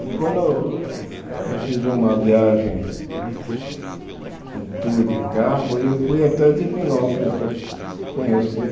E quando eh eu fiz uma viagem, um tour de carro, eu fui até Divinópolis para conhecer.